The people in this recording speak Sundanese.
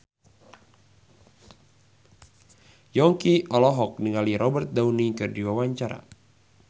Yongki olohok ningali Robert Downey keur diwawancara